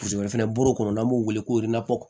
O fɛnɛ buru kɔnɔ n'an b'o wele ko